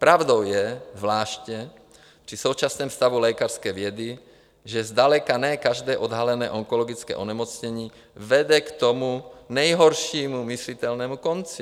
Pravdou je zvláště při současném stavu lékařské vědy, že zdaleka ne každé odhalené onkologické onemocnění vede k tomu nejhoršímu myslitelnému konci.